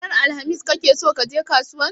Ranar alhamis kake so kaje kasuwan?